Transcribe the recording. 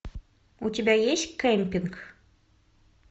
у тебя есть кемпинг